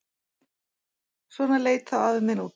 Svona leit þá afi minn út.